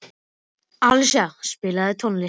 Alísa, spilaðu tónlist.